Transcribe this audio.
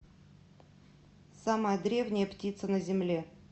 самая древняя птица на земле